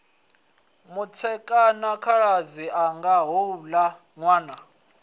mutshekwa khaladzi anga houla nwana